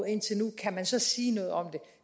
indtil nu kan man så sige noget om det